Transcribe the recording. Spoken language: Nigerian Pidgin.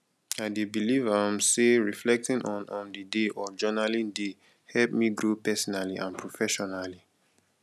i dey believe um say reflecting on um the day or journaling dey help me grow personally and professionally